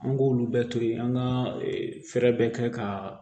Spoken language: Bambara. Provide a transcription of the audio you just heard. An k'olu bɛɛ to yi an ka fɛɛrɛ bɛɛ kɛ ka